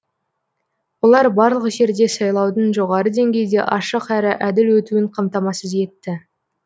олар барлық жерде сайлаудың жоғары деңгейде ашық әрі әділ өтуін қамтамасыз етті